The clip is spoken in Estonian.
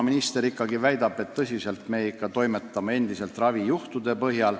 Minister väidab, et me toimetame endiselt, lähtudes ravijuhtudest.